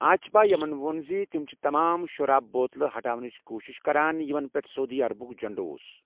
آیِچبایمَن ووٚن زِ تِم چھِ تمام شراب بوتلہٕ ہٹاونٕچ کوشِش کران یِمَن پیٹھ سعودی عربُک جنڈٕ اوس۔